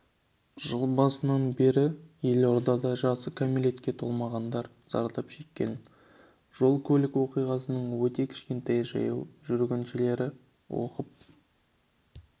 жыл басынан бері елордада жасы кәмелетке толмағандар зардап шеккен жол-көлік оқиғасының өте кішкентай жаяу жүргіншілер опық